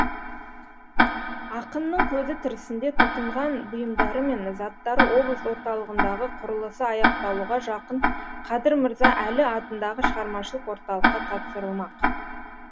ақынның көзі тірісінде тұтынған бұйымдары мен заттары облыс орталығындағы құрылысы аяқталуға жақын қадыр мырза әлі атындағы шығармашылық орталыққа тапсырылмақ